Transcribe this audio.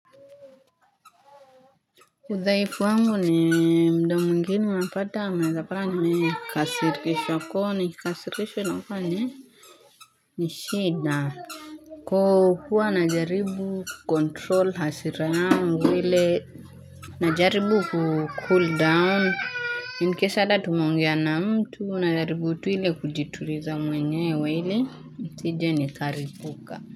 Udhaifu wangu ni mda mwingine unapata unaezapata nime kasirishwa kooni kikasirishwa inakua ni Nishida Koo huwa na jaribu kukontrol hasira yangu ile na jaribu kucool down inkesada tumeongea na mtu na jaribu tu ile kujituriza mwenyewe ili nsije ni karipuka.